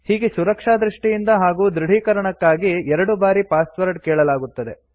ಹೀಗೆ ಸುರಕ್ಷಾ ದೃಷ್ಟಿಯಿಂದ ಹಾಗೂ ದೃಢೀಕರಣಕ್ಕಾಗಿ ಎರಡು ಬಾರಿ ಪಾಸ್ವರ್ಡ್ ಕೇಳಲಾಗುತ್ತದೆ